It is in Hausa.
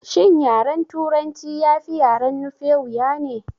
Shin yaren turanci ya fi yaren nufe wuya ne?